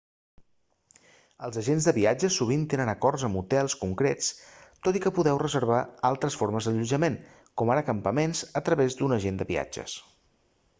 els agents de viatges sovint tenen acords amb hotels concrets tot i que podeu reservar altres formes d'allotjament com ara campaments a través d'un agent de viatges